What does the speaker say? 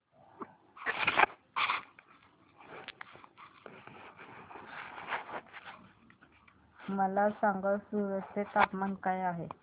मला सांगा सूरत चे तापमान काय आहे